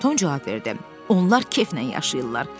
Tom cavab verdi: "Onlar keflə yaşayırlar.